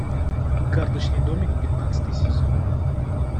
карточный домик пятнадцатый сезон